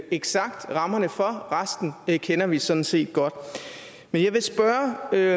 eksakt rammerne for resten kender vi sådan set godt men jeg vil spørge herre